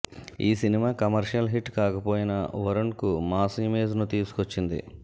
ఈ cinema commercial hit కాకపోయినా వరుణ్కు మాస్ ఇమేజ్ను తీసుకొచ్చింది